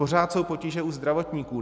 Pořád jsou potíže u zdravotníků.